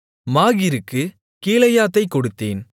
மாகீருக்குக் கீலேயாத்தைக் கொடுத்தேன்